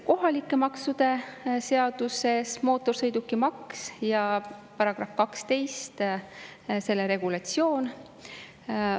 Kohalike maksude seaduses tühistatakse mootorsõidukimaks ja §-s 12 toodud regulatsioon.